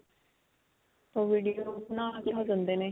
ਉਹ video ਨੇ.